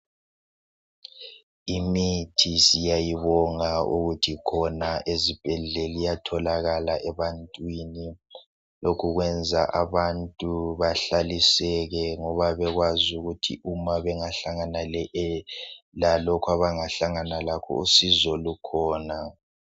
Imithi siyayibonga ukuthi khona ezibhedlela iyatholakala ebantwini lokhu kwenza abantu bahlaliseke ngoba bekwazi ukuthi uma bengahlangana lalokhu abangahlangana lakho usizo lukhona.